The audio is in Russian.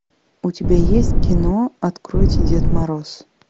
у тебя есть кино откройте дед мороз